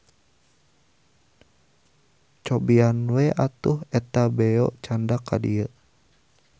Cobian we atuh eta beo candak ka dieu.